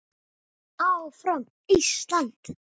ÁFRAM ÍSLAND!